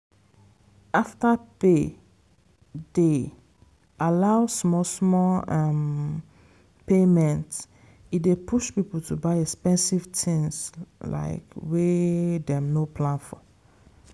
afterpay dey allow small small um payment e dey push people to buy expensive things like wey dem no plan for.